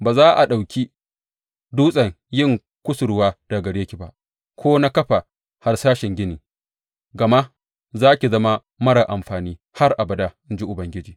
Ba za a ɗauki dutsen yin kusurwa daga gare ki ba ko na kafa harsashen gini, gama za ki zama marar amfani har abada, in ji Ubangiji.